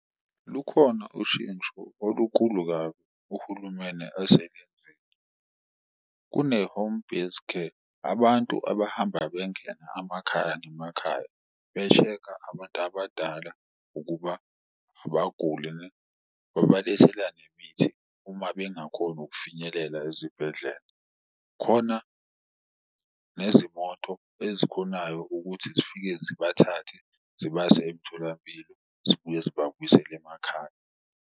Lukhona ushintsho olukulu kabi uhulumeni aselenzile, kune-home-based care abantu abahamba bengena amakhaya ngemakhaya be-check-a abantu abadala ukuba abaguli babalethela nemithi uma bengakhoni ukufinyelela ezibhedlela. Khona nezimoto ezikhonayo ukuthi zifike zibathathe zibase emtholampilo, zibuye zibabuyisele emakhaya.